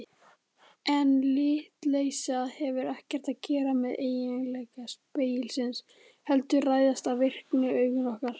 En litleysið hefur ekkert að gera með eiginleika spegilsins heldur ræðst af virkni augna okkar.